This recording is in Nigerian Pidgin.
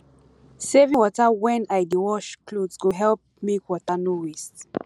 saving water when i dey wash cloth go help make water no waste